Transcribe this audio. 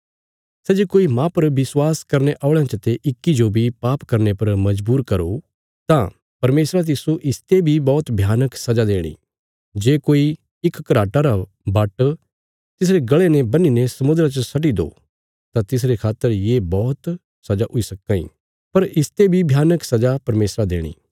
सै जे कोई माह पर विश्वास करने औल़यां चते इक्की जो बी पाप करने पर मजबूर करो तां परमेशरा तिस्सो इसते बी बौहत भयानक सजा देणी जे कोई इक घराटा रा बाट्ट तिसरे गल़े ने बन्हीने समुद्रा च सट्टि दो तां तिसरे खातर ये बौहत सजा हुई सक्कां इ पर इसते बी भयानक सजा परमेशरा देणी